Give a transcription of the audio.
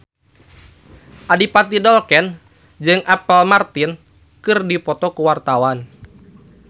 Adipati Dolken jeung Apple Martin keur dipoto ku wartawan